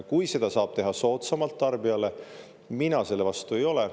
Kui seda saab teha tarbijale soodsamalt, siis mina selle vastu ei ole.